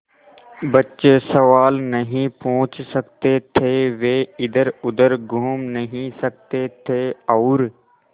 बच्चे सवाल नहीं पूछ सकते थे वे इधरउधर घूम नहीं सकते थे और